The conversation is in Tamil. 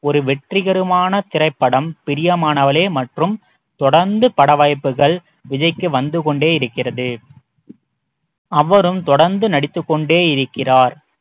ஒரு வெற்றிகரமான திரைப்படம் பிரியமானவளே மற்றும் தொடர்ந்து பட வாய்ப்புகள் விஜய்க்கு வந்துகொண்டே இருக்கிறது அவரும் தொடர்ந்து நடித்துக் கொண்டே இருக்கிறார்